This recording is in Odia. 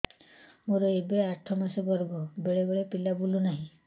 ମୋର ଏବେ ଆଠ ମାସ ଗର୍ଭ ବେଳେ ବେଳେ ପିଲା ବୁଲୁ ନାହିଁ